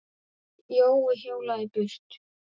Jói hjólaði burt.